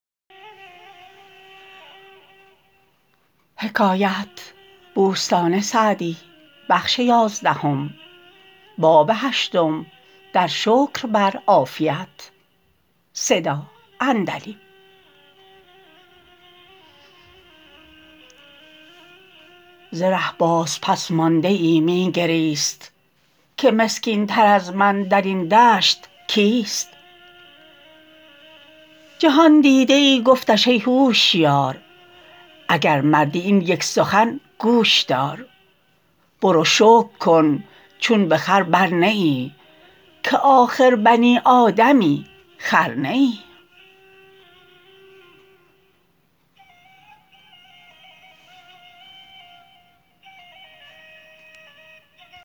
ز ره باز پس مانده ای می گریست که مسکین تر از من در این دشت کیست جهاندیده ای گفتش ای هوشیار اگر مردی این یک سخن گوش دار برو شکر کن چون به خر بر نه ای که آخر بنی آدمی خر نه ای